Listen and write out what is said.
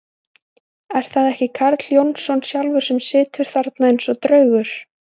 Er það ekki Karl Jónsson sjálfur sem situr þarna eins og draugur!